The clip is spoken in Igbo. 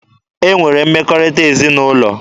E nwere mmekọrịta ezinaụlọ.